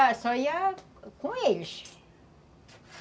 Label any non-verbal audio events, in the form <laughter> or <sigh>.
<unintelligible> só ia com eles.